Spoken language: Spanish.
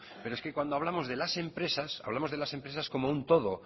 pero es que cuando hablamos de las empresas hablamos de las empresas como un todo